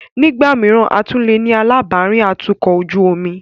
Nígbà mìíràn, a tún leè ní alábàárìn atukọ̀ ojú omi.